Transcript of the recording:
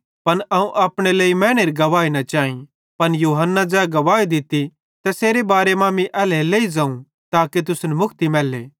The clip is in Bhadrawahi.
पन अवं अपने लेइ मैनेरी गवाही न चैई पन यूहन्ना ज़ै गवाही दित्ती तैसेरे बारे मां मीं एल्हेरेलेइ ज़ोवं ताके तुसन मुक्ति मैल्ले